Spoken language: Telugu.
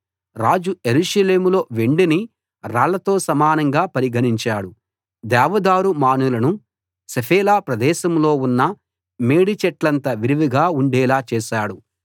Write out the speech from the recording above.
రాజు యెరూషలేములో వెండిని రాళ్లతో సమానంగా పరిగణించాడు దేవదారు మానులను షెఫేలా ప్రదేశంలో ఉన్న మేడి చెట్లంత విరివిగా ఉండేలా చేశాడు